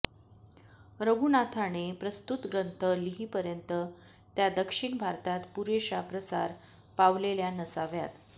रघुनाथाने प्रस्तुत ग्रंथ लिहीपर्यंत त्या दक्षिण भारतात पुरेशा प्रसार पावलेल्या नसाव्यात